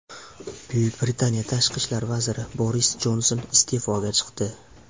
Buyuk Britaniya tashqi ishlar vaziri Boris Jonson iste’foga chiqdi.